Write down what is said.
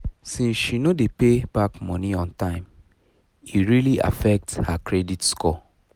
since she no dey pay back money on time e really affect her credit score